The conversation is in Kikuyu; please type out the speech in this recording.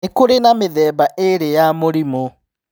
Nĩ kũrĩ na mĩthemba ĩrĩ ya mĩrimũ.